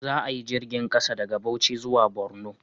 Za a yi jirgin ƙasa daga Bauchi zuwa Borno